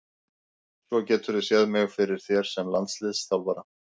Svo geturðu séð mig fyrir þér sem landsliðsþjálfara?